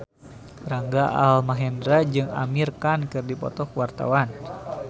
Rangga Almahendra jeung Amir Khan keur dipoto ku wartawan